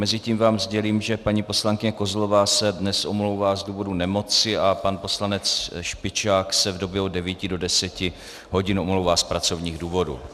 Mezitím vám sdělím, že paní poslankyně Kozlová se dnes omlouvá z důvodu nemoci a pan poslanec Špičák se v době od 9 do 10 hodin omlouvá z pracovních důvodů.